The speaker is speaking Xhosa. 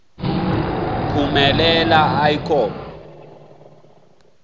phumelela i com